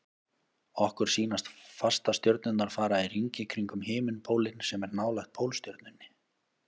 Okkur sýnast fastastjörnurnar fara í hringi kringum himinpólinn sem er nálægt Pólstjörnunni.